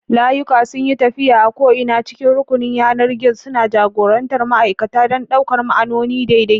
Layuka sun yi tafiya a ko'ina cikin rukunin yanar gizon, suna jagorantar ma'aikata don ɗaukar ma'auni daidai.